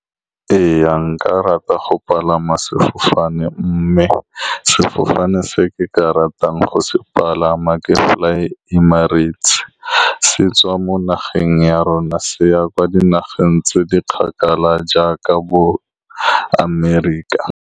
Ee, nka rata go palama sefofane, mme sefofane se ke ka ratang go se palama ke Fly Emirates. Se tswa mo nageng ya rona, se ya kwa dinageng tse di kgakala jaaka bo-America.